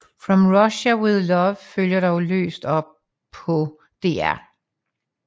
From Russia with Love følger dog løst op på Dr